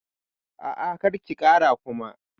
A'a, kar ki kara Kuma.